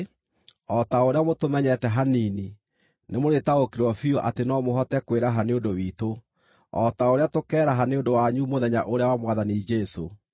o ta ũrĩa mũtũmenyete hanini, nĩmũrĩtaũkĩrwo biũ atĩ no mũhote kwĩraha nĩ ũndũ witũ, o ta ũrĩa tũkeeraha nĩ ũndũ wanyu mũthenya ũrĩa wa Mwathani Jesũ.